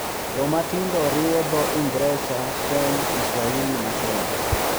Joma tindo riwo dho Ingresa, Sheng, Kiswahili ma Kenya,